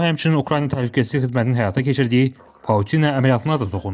O həmçinin Ukrayna Təhlükəsizlik Xidmətinin həyata keçirdiyi Pauçina əməliyyatına da toxunub.